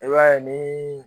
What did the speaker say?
I b'a ye ni